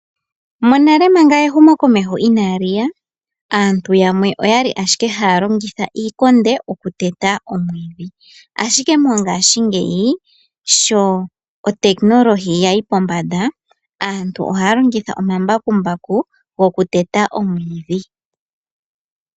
Monale manga ehumo komeho inaali ya . Aantu yamwe oyali ashike haya longitha iikonde oku teta omwiidhi. Ashike mongaashingeyi sho otekinolohi yayi pombanda aantu ohaya longitha omambakumbaku oku teta omwiidhi.